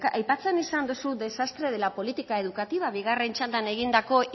aipatzen izan dozu desastre de la política educativa bigarren txandan egindako